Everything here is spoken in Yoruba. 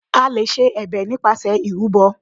A lè ṣe ẹ̀bẹ̀ nípasẹ̀ ìrúbọ.